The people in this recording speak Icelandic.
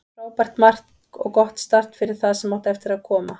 Frábært mark og gott start fyrir það sem eftir átti að koma.